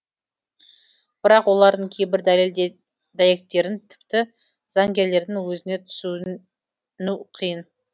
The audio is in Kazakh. бірақ олардың кейбір дәлел дәйектерін тіпті заңгерлердің өзіне түсін ну қиын